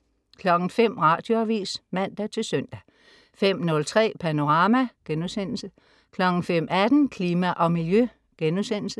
05.00 Radioavis (man-søn) 05.03 Panorama* 05.18 Klima og Miljø*